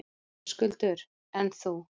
Höskuldur: En þú?